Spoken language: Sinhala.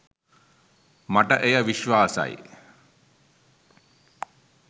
මට එය විශ්වාසයි.